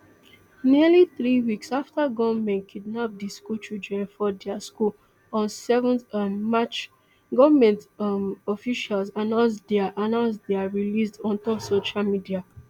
nearly three weeks afta gunmen kidnap di school children for dia school on seven um march goment um officials announce dia announce dia released ontop social media